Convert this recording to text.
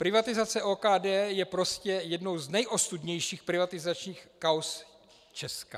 Privatizace OKD je prostě jednou z nejostudnějších privatizačních kauz Česka.